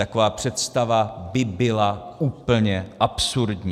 Taková představa by byla úplně absurdní.